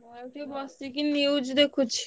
ଏଇଟିକେ ବସିକି news ଦେଖୁଛି।